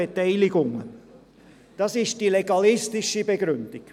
Dies ist die legalistische Begründung.